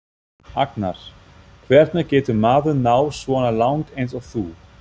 Agnar:: Hvernig getur maður náð svona langt eins og þú?